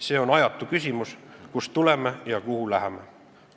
See on ajatu küsimus: kust tuleme ja kuhu läheme.